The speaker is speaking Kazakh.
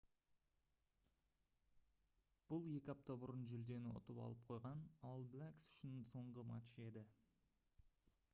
бұл екі апта бұрын жүлдені ұтып алып қойған all blacks үшін соңғы матч еді